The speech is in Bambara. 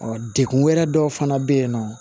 dekun wɛrɛ dɔw fana bɛ yen nɔ